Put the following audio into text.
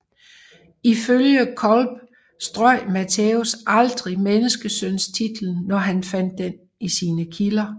Ifølge Colpe strøg Mattæus aldrig menneskesøntitlen når han fandt den i sine kilder